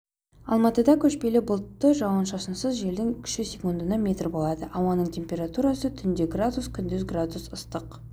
алматыда көшпелі бұлтты жауын-шашынсыз желдің күші секундына метр болады ауаның температурасы түнде градус күндіз градус ыстық